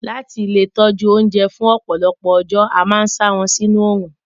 Láti lè tọjú oúnjẹ fún ọ̀pọ̀lọpọ̀ ọjọ́, a máa n sa wọn sinú orún.